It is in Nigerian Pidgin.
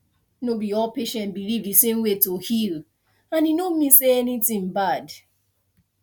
no be all patient believe the same way to heal and e no mean say anything bad